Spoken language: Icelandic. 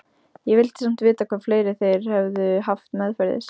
Ég vildi samt vita hvað fleira þeir hefðu haft meðferðis.